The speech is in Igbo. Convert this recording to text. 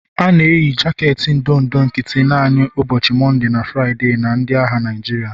A na-eyi jaketi ndụ ndụ nkịtị naanị n'ụbọchị Mọnde na Fraịde na ndị agha Naịjirịa.